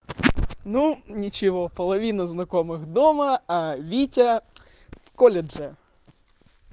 ну ничего половина знакомых дома а витя в колледже